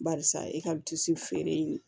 Barisa e ka disi feere in ye